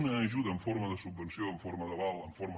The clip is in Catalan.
una ajuda en forma de subvenció en forma d’aval en forma